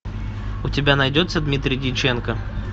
у тебя найдется дмитрий дьяченко